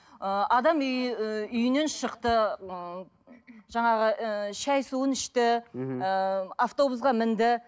ыыы адам ы үйінен шықты ыыы жаңағы ыыы шай суын ішті ыыы автобусқа мінді